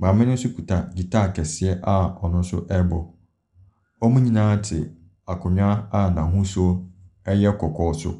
Maame no nso kita guitar kɛseɛ a ɔno nso rebɔ. Wɔn nyinaa te akonnwa a n'ahosuo yɛ kɔkɔɔ so.